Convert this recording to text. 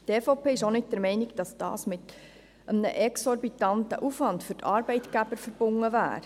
Die EVP ist auch nicht der Meinung, dass dies mit einem exorbitanten Aufwand für die Arbeitgeber verbunden wäre.